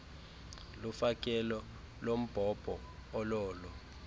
lofakelo lombhobho ololo